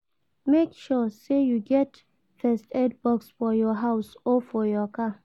Make sure say you get first aid box for your house or for your car